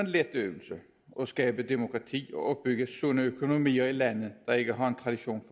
let øvelse at skabe demokrati og opbygge sunde økonomier i lande der ikke har en tradition